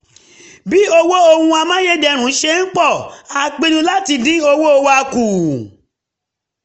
bí owó ohun amáyédẹrùn ṣe ń pọ̀ a pinnu láti dín owó wa kù